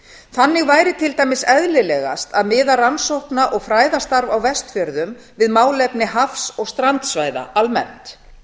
þannig væri til dæmis eðlilegast að miða rannsókna og fræðastarf á vestfjörðum við málefni hafs og strandsvæða almennt